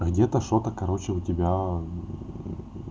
где-то что-то короче у тебя